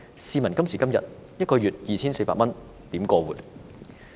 試問今時今日，一個月只有 2,400 多元，可以如何過活？